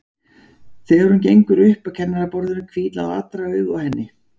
Þegar hún gengur upp að kennaraborðinu hvíla allra augu á henni.